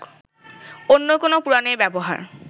অন্য কোন পুরাণের ব্যবহার